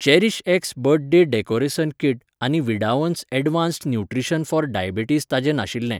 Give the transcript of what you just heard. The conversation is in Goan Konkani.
चेरीशएक्स बर्थडे डेकोरेसन कीट आनी विडावन्स यॅडवान्स्ड न्युट्रीशन फोर डायबिटीज ताजें नाशिल्ले.